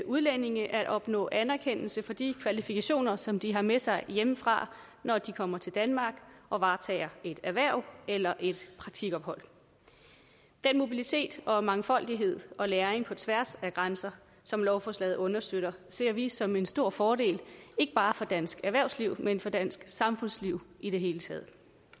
udlændinge at opnå anerkendelse for de kvalifikationer som de har med sig hjemmefra når de kommer til danmark og varetager et erhverv eller et praktikophold den mobilitet og mangfoldighed og læring på tværs af grænser som lovforslaget understøtter ser vi som en stor fordel ikke bare for dansk erhvervsliv men for dansk samfundsliv i det hele taget